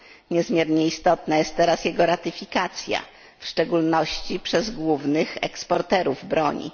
Niezmiernie istotna jest teraz jego ratyfikacja, w szczególności przez głównych eksporterów broni.